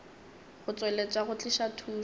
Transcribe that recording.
go tšweletša go tliša thušo